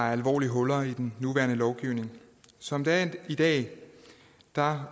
er alvorlige huller i den nuværende lovgivning som det er i dag har